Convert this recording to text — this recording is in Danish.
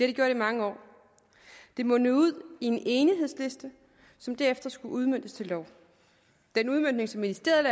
gjort i mange år det mundede ud i en enighedsliste som derefter skulle udmøntes til lov den udmøntning som ministeriet